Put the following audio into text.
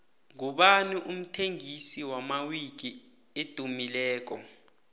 ngubani umthengisi wamawiki edumileko